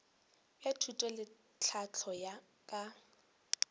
bja thuto le tlhahlo ka